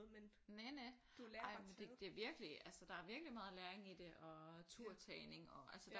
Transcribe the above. Næ næ ej men det det er virkelig der er virkelig meget læring i det og turtagning og altså der